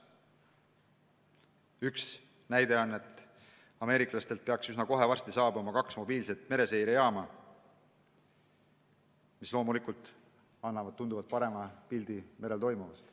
Üks näide on, et ameeriklastelt peaks üsna kohe varsti saabuma kaks mobiilset mereseirejaama, mis loomulikult annavad tunduvalt parema pildi merel toimuvast.